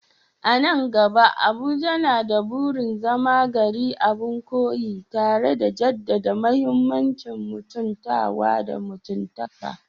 A nan gaba, Abuja na da burin zama gari abin koyi, tare da jaddada muhimmancin mutuntawa da mutuntaka